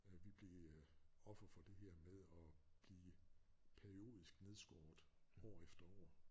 Vi blev øh offer for det her med at blive periodisk nedskåret år efter år